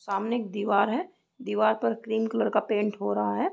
सामने एक दीवार है दीवार पर क्रीम कलर का पेंट हो रहा है।